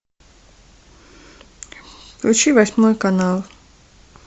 включи восьмой канал